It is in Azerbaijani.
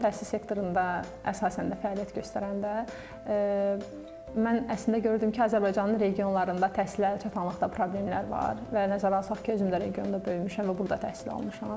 Təhsil sektorunda əsasən də fəaliyyət göstərəndə mən əslində gördüm ki, Azərbaycanın regionlarında təhsilə əlçatanlıqda problemlər var və nəzərə alsaq ki, özüm də regionda böyümüşəm və burda təhsil almışam.